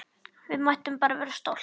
Við mættum bara vera stolt!